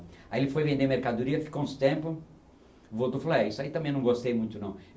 Aí ele foi vender mercadoria, ficou uns tempo, voltou e falou, é isso aí também não gostei muito não.